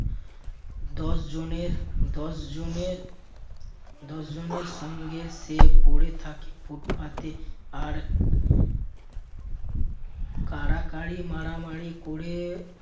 দশজনের দশজনের দশজনের সঙ্গে সে পড়ে থাকে ফুটপাতে আর কাড়াকাড়ি মারামারি করে